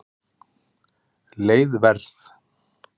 Leið Verð